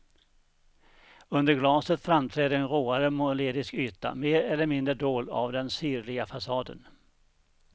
Under glaset framträder en råare målerisk yta, mer eller mindre dold av den sirliga fasaden.